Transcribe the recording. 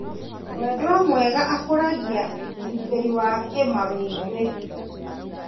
Mwendwa mwega akũragia ũgitĩri wa kĩmawĩgwi.